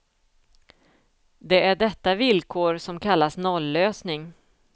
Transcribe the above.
Det är detta villkor som kallas nollösning.